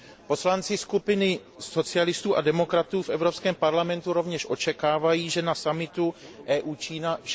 Poslanci skupiny socialistů a demokratů v Evropském parlamentu rovněž očekávají, že na summitu EU Čína dne